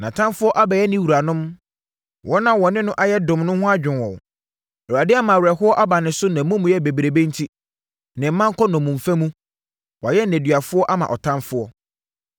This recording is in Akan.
Nʼatamfoɔ abɛyɛ ne wuranom; wɔn a wɔ ne no ayɛ dom ho adwo wɔn. Awurade ama awerɛhoɔ aba ne so nʼamumuyɛ bebrebe enti. Ne mma kɔ nnommumfa mu. Wɔayɛ nneduafoɔ ama ɔtamfoɔ.